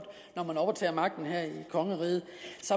når man overtager magten her i kongeriget